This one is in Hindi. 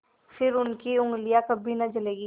फिर उनकी उँगलियाँ कभी न जलेंगी